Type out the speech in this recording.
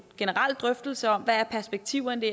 generelle drøftelse om hvad perspektiverne